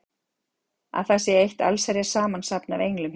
Að það sé eitt allsherjar samansafn af englum hérna!